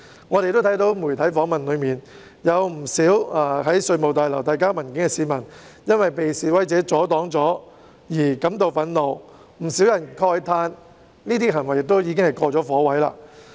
我們從媒體訪問看到，不少到稅務大樓遞交文件的市民因為被示威者阻擋而感到憤怒，亦有不少人慨歎這些行為已屬"過火"。